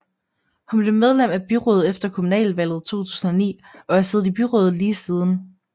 Hun blev medlem af byrådet efter kommunalvalget 2009 og har siddet i byrådet lige siden